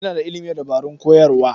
Ina da ilimin dabarun koyarwa.